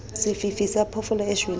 sefifi sa phoofolo e shweleng